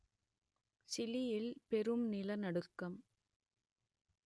சிலியில் பெரும் நிலநடுக்கம்